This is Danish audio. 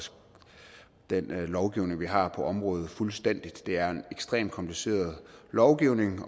den lovgivning vi har på området fuldstændig det er en ekstremt kompliceret lovgivning